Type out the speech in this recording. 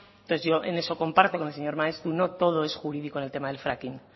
entonces yo en eso comparto con el señor maeztu no todo es jurídico en el tema del fracking